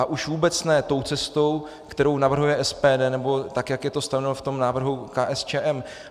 A už vůbec ne tou cestou, kterou navrhuje SPD, nebo tak, jak je to stanoveno v tom návrhu KSČM.